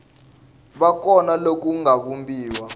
va kona loku nga vumbiwa